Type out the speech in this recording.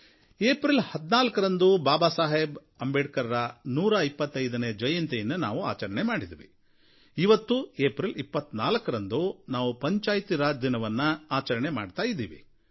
April 14ರಂದು ಬಾಬಾ ಸಾಹೇಬ್ ಅಂಬೇಡ್ಕರ್ ಅವರ 125ನೇ ಜಯಂತಿಯನ್ನು ನಾವು ಆಚರಿಸಿದ್ವಿ ಇವತ್ತು ಏಪ್ರಿಲ್ 24ರಂದು ನಾವು ಪಂಚಾಯತ್ ರಾಜ್ ದಿನವನ್ನು ಆಚರಣೆ ಮಾಡ್ತಾ ಇದ್ದೀವಿ